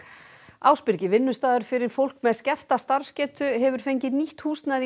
Ásbyrgi vinnustaður fyrir fólk með skerta starfsgetu hefur fengið nýtt húsnæði í